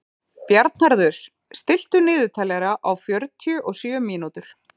Bjarnharður, stilltu niðurteljara á fjörutíu og sjö mínútur.